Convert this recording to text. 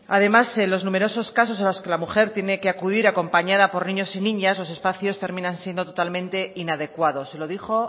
además en los numerosos casos en los que la mujer tiene que acudir acompañada por niños y niñas los espacios terminan siendo totalmente inadecuados se lo dijo